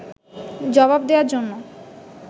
জবাব দেয়ার জন্য